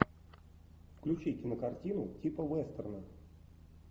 включи кинокартину типа вестерна